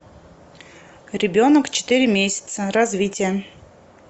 ребенок четыре месяца развитие